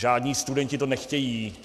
Žádní studenti to nechtějí.